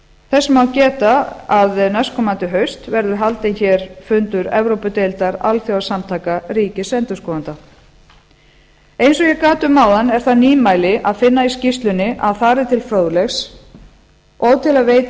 þess má geta að næstkomandi haust verður haldinn hér fundur evrópudeildar alþjóðasamtaka ríkisendurskoðenda eins og ég gat um áðan er það nýmæli að finna í skýrslunni að þar er til fróðleiks og til að veita